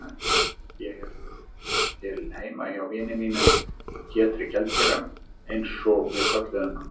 Ég hélt til heima hjá vini mínum Pétri gjaldkera, einsog við kölluðum hann.